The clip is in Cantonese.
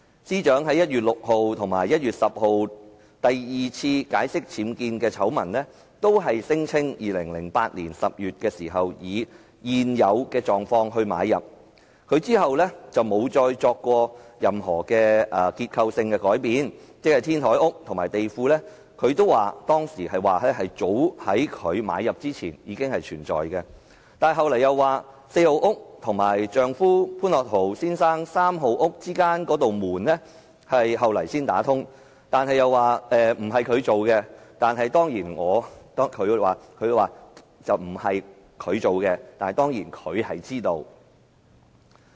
司長在1月6日和1月10日第二次解釋僭建醜聞時，同樣聲稱2008年10月時以"現有狀況"買入物業，之後沒有再作過任何結構性改變，她當時仍然表示，天台屋和地庫早在她購入之前已有，但她其後又表示，四號屋和丈夫潘樂陶先生三號屋之間的那扇門，後來才打通，據她所說："工程不是由她進行，但她當然是知道的。